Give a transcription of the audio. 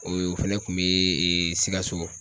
O fɛnɛ kun bi sikaso.